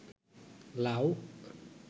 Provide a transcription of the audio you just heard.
লাউ